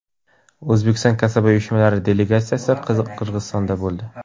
O‘zbekiston kasaba uyushmalari delegatsiyasi Qirg‘izistonda bo‘ldi.